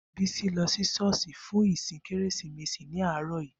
Bisi lọ sí ṣọ́ọ̀ṣì fún ìsìn Kérésìmesì ní àárọ̀ yìí.